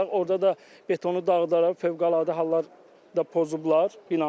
Orda da betonu dağıdaraq fövqəladə hallar da pozublar binanı.